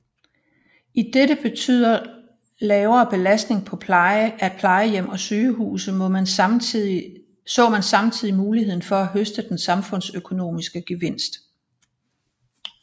Idet det betyder lavere belastning af plejehjem og sygehuse så man samtidig muligheden for at høste en samfundsøkonomisk gevinst